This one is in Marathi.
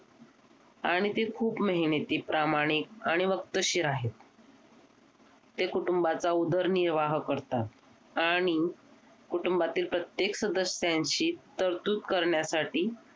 आणि ते खूप मेहनती प्रामाणिक आणि वक्तशीर आहेत ते कुटुंबाचा उदरनिर्वाह करतात आणि कुटुंबातील प्रत्येक सदस्यांशी तरतूद करण्यासाठी